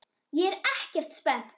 ÉG ER EKKERT SPENNT!